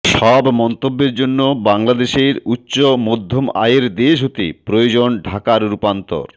সব মন্তব্যের জন্য বাংলাদেশের উচ্চ মধ্যম আয়ের দেশ হতে প্রয়োজন ঢাকার রূপান্তর